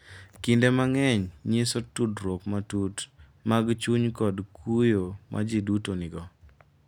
Kinde mang’eny nyiso tudruok matut mag chuny kod kuyo ma ji duto nigo.